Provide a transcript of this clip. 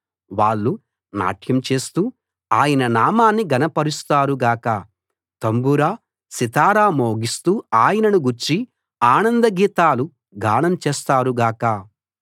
వాళ్ళు నాట్యం చేస్తూ ఆయన నామాన్ని ఘనపరుస్తారు గాక తంబుర సితారా మోగిస్తూ ఆయనను గూర్చి ఆనంద గీతాలు గానం చేస్తారు గాక